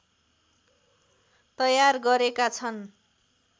तयार गरेका छन्